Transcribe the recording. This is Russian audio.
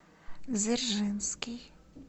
дзержинский